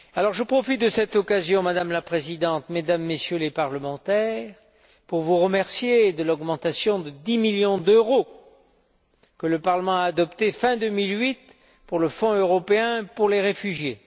Je profite de cette occasion, Madame la Présidente, Mesdames et Messieurs les Députés, pour vous remercier de l'augmentation de 10 millions d'euros, que le Parlement a adoptée fin 2008, pour le Fonds européen pour les réfugiés.